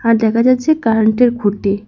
আর দেখা যাচ্ছে কারেন্টের খুঁটি।